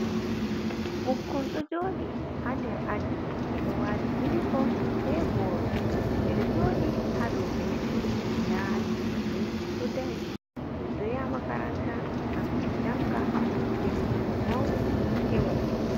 Ɓukkon ɗo joɗi ha nder aji ɓe ɗo wati yunifom ɓe boro. Ɓeɗo joɗi ha dau benchi maɓɓe. Nda anti maɓɓe ɗo dari. Ɗum yaha makaranta gam min janga, to min mauni min heba kugal.